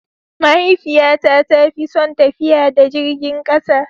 Mahaifiyata ta fi son tafiya da jirgin kasa.